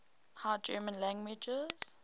high german languages